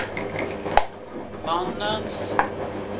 mannens